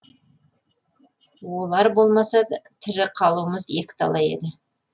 олар болмаса тірі қалуымыз екіталай еді